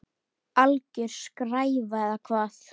Alger skræfa eða hvað?